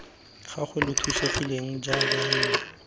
gagwe lo thusegileng jaana nna